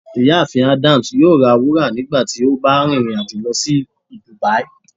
Ìyáàfín Adams yóò rá wúra nígbàtí o bá rin irin-ajo lọ si dubia.